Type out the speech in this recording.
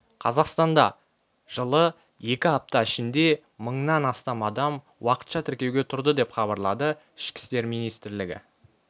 қазақстанда жылы екі апта ішінде мыңнан астам адам уақытша тіркеуге тұрды деп хабарлады ішкі істер министрлігі